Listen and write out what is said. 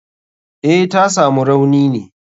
Eh, tasamu rauni ne.